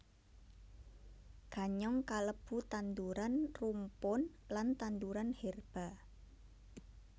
Ganyong kalebu tanduran rumpun lan tanduran herba